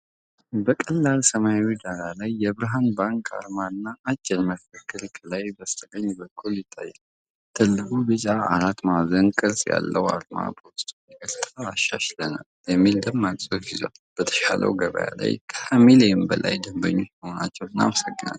በቀላል ሰማያዊ ዳራ ላይ፣ የብርሃን ባንክ አርማና አጭር መፈክር ከላይ በስተቀኝ በኩል ይታያል። ትልቁ ቢጫ አራት ማዕዘን ቅርጽ ያለው አርማ በውስጡ "ይቅርታ አሻሽለናል" የሚል ደማቅ ጽሑፍ ይዟል።"በተሻሻለው ገበያ ላይ ከ 20 ሚሊየን በላይ ደንበኞች በመሆናችሁ እናመሰግናለን!"